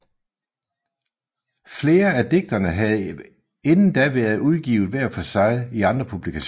Flere af digtene havde inden da været udgivet hver for sig i andre publikationer